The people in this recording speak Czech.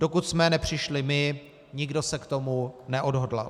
Dokud jsme nepřišli my, nikdo se k tomu neodhodlal.